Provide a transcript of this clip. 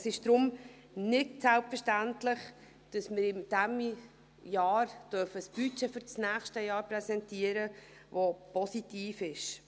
Es ist deshalb nicht selbstverständlich, dass wir in diesem Jahr ein Budget für das nächste Jahr präsentieren dürfen, welches positiv ist.